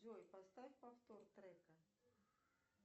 джой поставь повтор трека